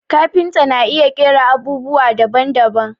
Kafinta na iya ƙera abubwa daban daban